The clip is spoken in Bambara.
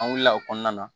An wulila o kɔnɔna na